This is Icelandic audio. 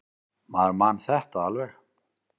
Maður man þetta alveg.